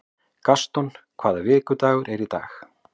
Gaston, hvaða vikudagur er í dag?